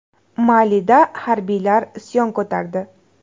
Malida harbiylar isyon ko‘tardi.